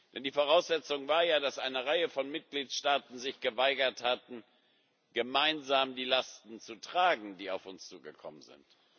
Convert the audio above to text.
Denn die Voraussetzung war ja, dass eine Reihe von Mitgliedstaaten sich geweigert hatten, gemeinsam die Lasten zu tragen, die auf uns zugekommen sind.